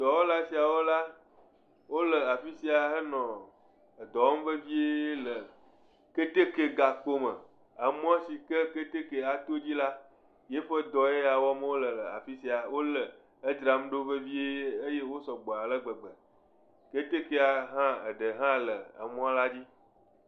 Dɔwɔla siawo la, wole afi sia henɔ edɔ wɔm vevie le keteke gakpo me, emɔ si ke keteke ato dzi la yi ƒe dɔ ye ya wɔm wole le afi sia wole edzram ɖo vevie eye wo sɔgbɔ ale gbegbe ketekea hã eɖe hã le emɔ la dzi.